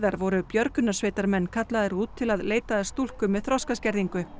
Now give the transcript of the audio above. voru björgunarsveitarmenn kallaðir út til að leita að stúlku með þroskaskerðingu